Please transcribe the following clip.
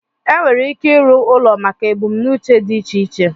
enwere ike ịrụ ụlọ maka ebumnuche dị iche iche